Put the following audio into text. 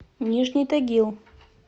нижний тагил